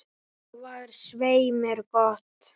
Það er svei mér gott.